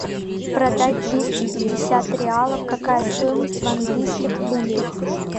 продать двести пятьдесят реалов какая стоимость в английских фунтах